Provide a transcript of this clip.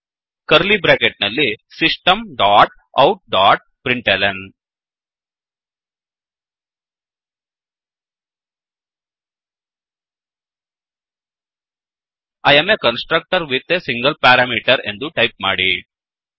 curly bracket ನಲ್ಲಿ system dot out dot println I am a constructor with a single parameter ಎಂದು type ಮಾಡಿ